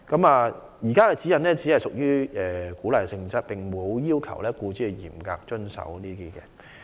現時的指引只屬鼓勵性質，沒有要求僱主嚴格遵守。